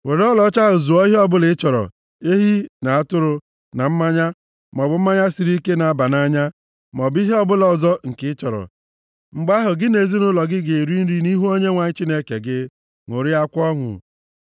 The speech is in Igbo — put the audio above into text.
Were ọlaọcha ahụ zụọ ihe ọbụla ị chọrọ: ehi, na atụrụ, na mmanya, maọbụ mmanya siri ike na-aba nʼanya maọbụ ihe ọbụla ọzọ nke ị chọrọ. Mgbe ahụ, gị na ezinaụlọ gị ga-eri nri nʼihu Onyenwe anyị Chineke gị, ṅụrịakwa ọṅụ.